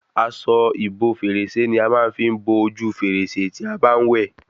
Aṣọ ìbo fèrèsé ní a fí máa ń bo ojú fèrèsé tí a bá n wẹ